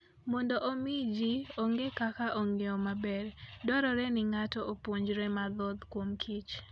Mondo omi ji ong'e kaka ong'iyo maber, dwarore ni ng'ato opuonjre mathoth kuomkich.